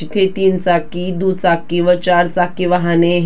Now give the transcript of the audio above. तिथे तीन चाकी दुचाकी व चारचाकी वाहने--